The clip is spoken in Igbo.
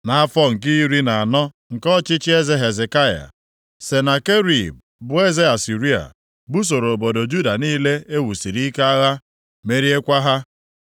Nʼafọ nke iri na anọ nke ọchịchị eze Hezekaya, Senakerib, bụ eze Asịrịa, busoro obodo Juda niile e wusiri ike agha, meriekwa ha.